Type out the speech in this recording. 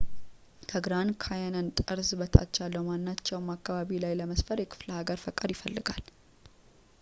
ከግራንድ ካንየን ጠርዝ በታች ያለው ማናቸውም አካባቢ ላይ ለመስፈር የክፍለሃገር ፈቃድ ይፈልጋል